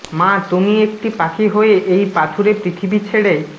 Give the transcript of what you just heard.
মা তুমি একটি পাখি হয়ে এই পাথুরে পৃথিবী ছেড়ে